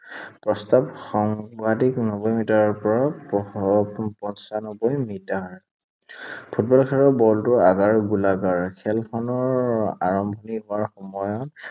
প্ৰস্থ সৰ্বাধিক নব্বৈ মিটাৰৰ পৰা প, পঁঞ্চানব্বৈ মিটাৰ। ফুটবল খেলৰ বলটোৰ আকাৰ গোলাকাৰ। খেলখনৰ আৰম্ভণি কৰাৰ সময়ত